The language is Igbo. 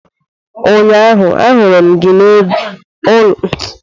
Ụnyaahụ ahuru m gị na ụlọ ebe ana ere adire.